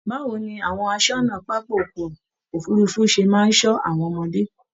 báwo ni àwọn àsọ́nà pápá ọkọ òfurùnfu ṣe máa n sọ àwọn ọmọdé?